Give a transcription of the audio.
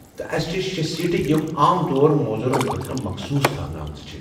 تہٕ اسہِ چھِ شےٚ سیٖٹہٕ یِم عام طور موزُورَن خٲطرٕ مخصوٗص تھاونہٕ آمِژٕ چھِ ۔